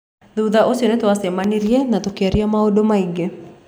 Thutha ũcio nĩ twacemanirie na tũkĩaria maũndũ maingĩ.